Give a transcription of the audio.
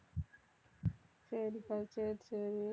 சரிப்பா சரி சரி